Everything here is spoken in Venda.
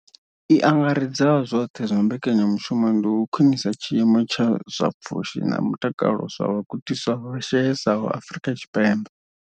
I angaredzaho zwoṱhe ya mbekanyamushumo ndi u khwinisa tshiimo tsha zwa pfushi na mutakalo zwa vhagudiswa vha shayesaho Afrika Tshipembe.